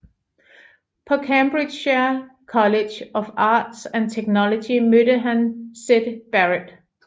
På Cambridgeshire College of Arts and Technology mødte han Syd Barrett